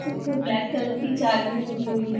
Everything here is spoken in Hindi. जिस पे ब्लैक कलर की जालियां लगी हुई है।